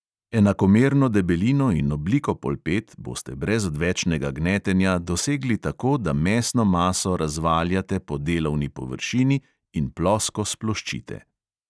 Enakomerno debelino in obliko polpet boste brez odvečnega gnetenja dosegli tako, da mesno maso razvaljate po delovni površini in plosko sploščite.